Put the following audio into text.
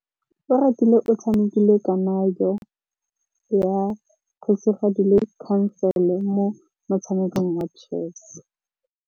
Oratile o tshamekile kananyô ya kgosigadi le khasêlê mo motshamekong wa chess.